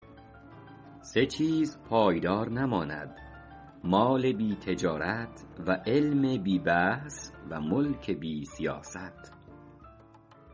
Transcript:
سه چیز پایدار نماند مال بی تجارت و علم بی بحث و ملک بی سیاست